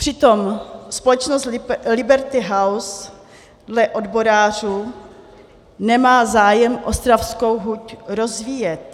Přitom společnost Liberty House dle odborářů nemá zájem ostravskou huť rozvíjet.